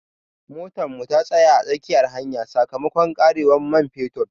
Motar mu ta tsaya a tsakiyar hanya sakamakon karewar man fetur.